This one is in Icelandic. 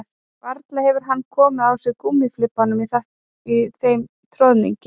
Varla hefði hann komið á sig gúmmíflibbanum í þeim troðningi